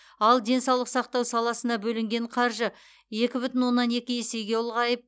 ал денсаулық сақтау саласына бөлінген қаржы екі бүтін оннан екі есеге ұлғайып